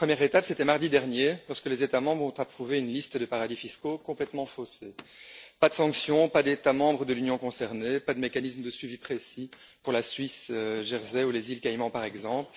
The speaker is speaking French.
La première étape, c'était mardi dernier, lorsque les États membres ont approuvé une liste de paradis fiscaux complètement faussée pas de sanction, pas d'États membres de l'Union concernés, pas de mécanisme de suivi précis pour la Suisse, Jersey ou les Îles Caïman, par exemple.